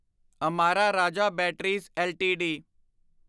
Amara Raja Batteries LTD